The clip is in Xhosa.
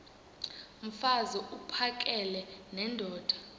mfaz uphakele nendoda